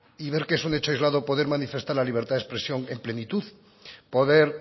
y ver que es un hecho aislado poder manifestar la libertad de expresión en plenitud poder